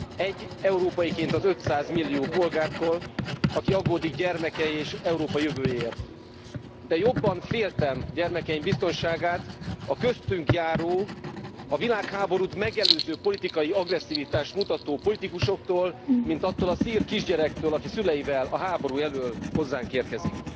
Egy európaiként az 500 millió polgárból, aki aggódik gyermekei és Európa jövőjéért, de jobban féltem gyermekeim biztonságát a köztünk járó, a világháborút megelőző politikai agresszivitást mutató politikusoktól, mint attól a szír kisgyerektől, aki a szüleivel a háború elől hozzánk érkezik.